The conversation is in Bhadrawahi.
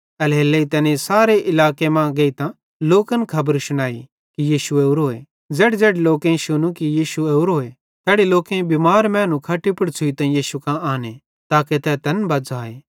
एल्हेरेलेइ तैनेईं सारे इलाके मां गेइतां लोकन खबर शुनाई कि यीशु ओरोए ज़ेड़ीज़ेड़ी लोकेईं शुनू कि यीशु ओरोए तैड़ी लोकेईं बिमार मैनू खट्टी पुड़ छ़ुइतां यीशु कां आन्ने लग्गे ताके तै तैनन् बज़्झ़ाए